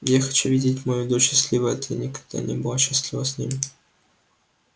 я хочу видеть мою дочь счастливой а ты никогда не была счастлива с ним